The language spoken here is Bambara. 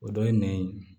O dɔ ye nɛn ye